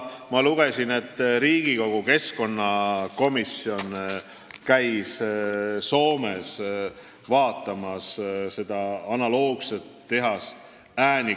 Ma lugesin, et Riigikogu keskkonnakomisjon käis Soomes Äänekoskis analoogset tehast vaatamas.